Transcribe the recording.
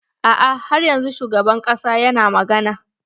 A'a har yanzun shugaban ƙasa yana magana.